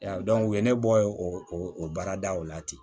u ye ne bɔ o baaradaw la ten